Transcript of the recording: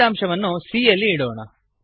ಫಲಿತಾಂಶವನ್ನು c ಯಲ್ಲಿ ಇಡೋಣ